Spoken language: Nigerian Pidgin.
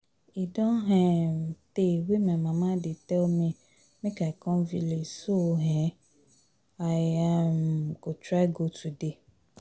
E don um tey wey my mama dey tell me make I come village so um I um go try go today